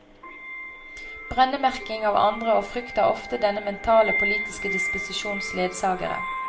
Brennemerking av andre og frykt er ofte denne mentale og politiske disposisjons ledsagere.